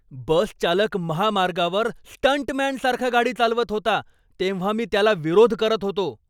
बस चालक महामार्गावर स्टंटमॅनसारखा गाडी चालवत होता, तेव्हा मी त्याला विरोध करत होतो.